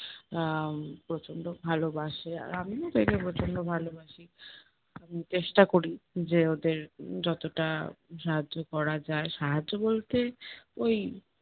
আহ প্রচন্ড ভালোবাসে আর আমিও তাকে প্রচন্ড ভালোবাসি। চেষ্টা করি যে ওদের উম যতটা সাহায্য করা যায়, সাহায্য বলতে ওই